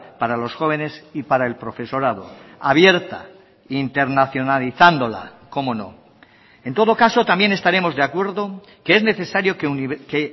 para los jóvenes y para el profesorado abierta internacionalizándola cómo no en todo caso también estaremos de acuerdo que es necesario que